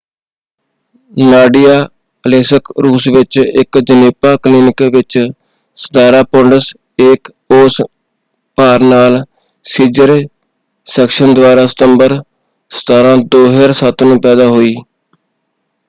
Nadia ਅਲੇਸਕ ਰੂਸ ਵਿੱਚ ਇਕ ਜਣੇਪਾ ਕਲੀਨਿਕ ਵਿੱਚ 17 ਪੋਂਡਸ 1 ਔਂਸ ਭਾਰ ਨਾਲ ਸੀਜ਼ਰ ਸੈਕਸ਼ਨ ਦੁਆਰਾ ਸਤੰਬਰ 17 2007 ਨੂੰ ਪੈਦਾ ਹੋਈ।